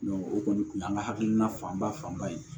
o kɔni tun y'an ka hakilina fanba fanba ye